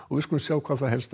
við skulum sjá það helsta